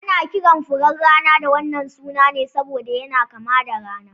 Ana kiran furen rana da wannan suna ne saboda yana kama da rana